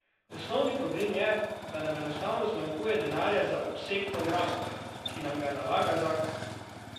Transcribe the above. Osnovni problem je, da nam enostavno zmanjkuje denarja za obseg programov, ki nam ga nalaga zakon.